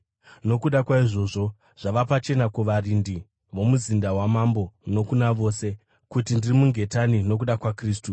Nokuda kwaizvozvo, zvava pachena kuvarindi vomuzinda wamambo nokuna vose kuti ndiri mungetani nokuda kwaKristu.